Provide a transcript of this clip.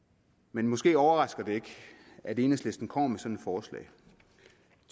men måske overrasker det ikke at enhedslisten kommer med sådan et forslag